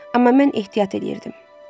Amma mən ehtiyat eləyirdim.